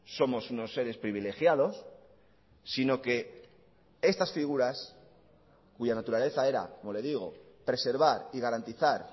somos unos seres privilegiados sino que estas figuras cuya naturaleza era como le digo preservar y garantizar